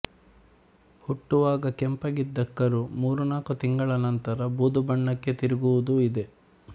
ಹುಟ್ಟುವಾಗ ಕೆಂಪಾಗಿದ್ದ ಕರು ಮೂರು ನಾಲ್ಕು ತಿಂಗಳ ನಂತರ ಬೂದು ಬಣ್ಣಕ್ಕೆ ತಿರುಗುವುದೂ ಇದೆ